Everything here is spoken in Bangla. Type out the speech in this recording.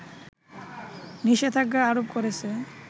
নিষেধাজ্ঞা আরোপ করেছে